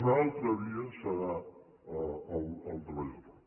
una altra via serà el treballador autònom